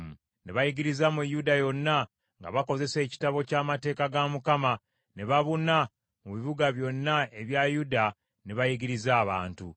Ne bayigiriza mu Yuda yonna, nga bakozesa Ekitabo ekya Mateeka ga Mukama ; ne babuna mu bibuga byonna ebya Yuda ne bayigiriza abantu.